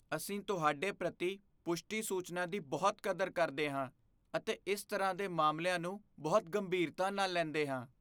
ਅਸੀਂ ਤੁਹਾਡੇ ਪ੍ਰਤਿ ਪੁਸ਼ਟੀ ਸੂਚਨਾ ਦੀ ਬਹੁਤ ਕਦਰ ਕਰਦੇ ਹਾਂ ਅਤੇ ਇਸ ਤਰ੍ਹਾਂ ਦੇ ਮਾਮਲਿਆਂ ਨੂੰ ਬਹੁਤ ਗੰਭੀਰਤਾ ਨਾਲ ਲੈਂਦੇ ਹਾਂ।